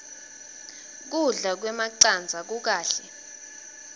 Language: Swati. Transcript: kudla kwemacandza kukahle